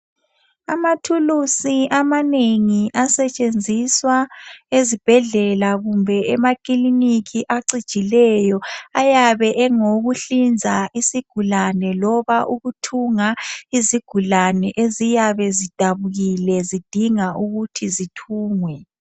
Amathulisi amanengi asetshenziswa ezibhedlela kumbe emakilinikhi acijileyo ayabe engokuhliza isigulane loba ukuthunga izigulane eziyabe zidabukile zidinga ukuthi zithungwe.